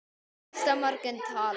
Næsta morgun talaði